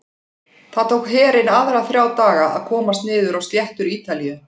Það tók herinn aðra þrjá daga að komast niður á sléttur Ítalíu.